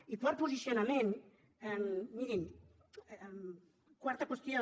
i quart posicionament quarta qüestió